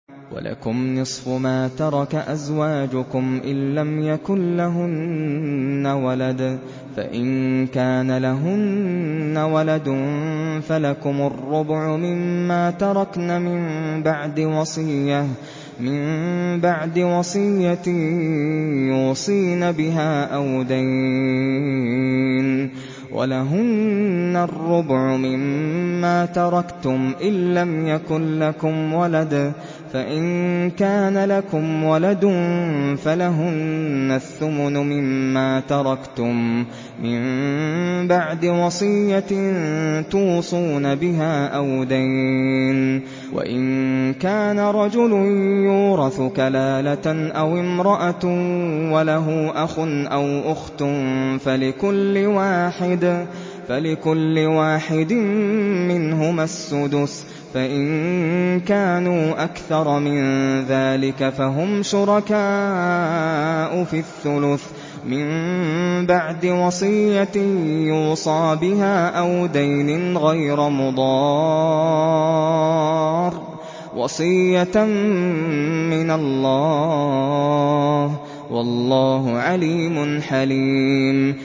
۞ وَلَكُمْ نِصْفُ مَا تَرَكَ أَزْوَاجُكُمْ إِن لَّمْ يَكُن لَّهُنَّ وَلَدٌ ۚ فَإِن كَانَ لَهُنَّ وَلَدٌ فَلَكُمُ الرُّبُعُ مِمَّا تَرَكْنَ ۚ مِن بَعْدِ وَصِيَّةٍ يُوصِينَ بِهَا أَوْ دَيْنٍ ۚ وَلَهُنَّ الرُّبُعُ مِمَّا تَرَكْتُمْ إِن لَّمْ يَكُن لَّكُمْ وَلَدٌ ۚ فَإِن كَانَ لَكُمْ وَلَدٌ فَلَهُنَّ الثُّمُنُ مِمَّا تَرَكْتُم ۚ مِّن بَعْدِ وَصِيَّةٍ تُوصُونَ بِهَا أَوْ دَيْنٍ ۗ وَإِن كَانَ رَجُلٌ يُورَثُ كَلَالَةً أَوِ امْرَأَةٌ وَلَهُ أَخٌ أَوْ أُخْتٌ فَلِكُلِّ وَاحِدٍ مِّنْهُمَا السُّدُسُ ۚ فَإِن كَانُوا أَكْثَرَ مِن ذَٰلِكَ فَهُمْ شُرَكَاءُ فِي الثُّلُثِ ۚ مِن بَعْدِ وَصِيَّةٍ يُوصَىٰ بِهَا أَوْ دَيْنٍ غَيْرَ مُضَارٍّ ۚ وَصِيَّةً مِّنَ اللَّهِ ۗ وَاللَّهُ عَلِيمٌ حَلِيمٌ